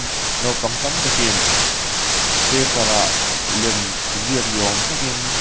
naupang tam takin paper ah lem ziak ni awm takin--